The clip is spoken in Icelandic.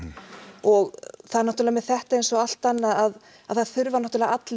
og það er náttúrulega með þetta eins og allt annað að það þurfa náttúrulega allir